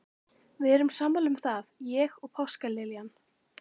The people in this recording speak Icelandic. Við erum sammála um það, ég og páskaliljan.